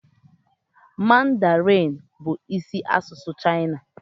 Mandarinee bụ isi asụsụ China.